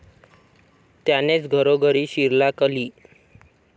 त्यानेच घरोघरी शिरला कली।